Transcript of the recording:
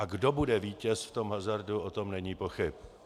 A kdo bude vítěz v tom hazardu, o tom není pochyb.